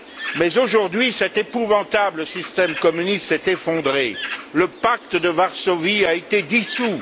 Mais, aujourd'hui, cet épouvantable système communiste s'est effondré, le Pacte de Varsovie a été dissous.